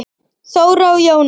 Þóra og Jóna.